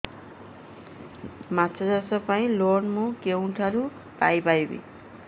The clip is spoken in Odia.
ମାଛ ଚାଷ ପାଇଁ ଲୋନ୍ ମୁଁ କେଉଁଠାରୁ ପାଇପାରିବି